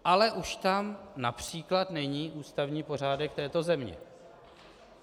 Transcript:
Ale už tam například není ústavní pořádek této země.